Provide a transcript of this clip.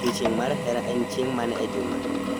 odiechieng ' mar hera en chieng ' mane e juma